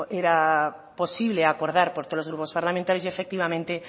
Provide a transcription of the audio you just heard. era posible acordar por todos los grupos parlamentarios y efectivamente